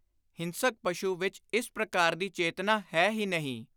ਹਿੰਸਕ ਪਸ਼ੁ ਵਿਚ ਇਸ ਪ੍ਰਕਾਰ ਦੀ ਚੇਤਨਾ ਹੈ ਹੀ ਨਹੀਂ।